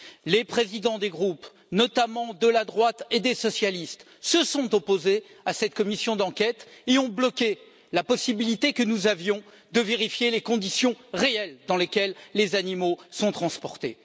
Les présidents des groupes, notamment de la droite et des socialistes, se sont opposés à cette commission d'enquête et ont bloqué la possibilité que nous avions de vérifier les conditions réelles dans lesquelles les animaux sont transportés.